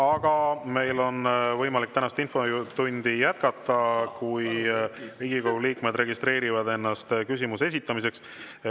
Aga meil on võimalik tänast infotundi jätkata, kui Riigikogu liikmed registreerivad ennast küsimuse esitamiseks.